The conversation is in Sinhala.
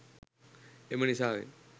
එම නිසාවෙන්